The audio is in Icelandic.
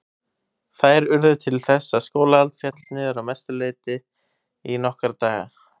Þær urðu til þess að skólahald féll að mestu leyti niður í nokkra daga.